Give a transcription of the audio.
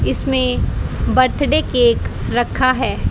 इसमें birthday cake रखा है।